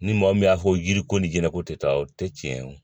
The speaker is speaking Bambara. Ni mɔɔ min y'a fɔ yiriko ni jɛnɛko tɛ taa o tɛ tiɲɛ ye